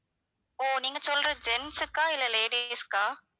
இப்போ நீங்க சொல்றது gents க்கா இல்ல ladies க்கா